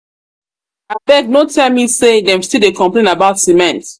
abeg no um tell me say dem still dey um complain um about cement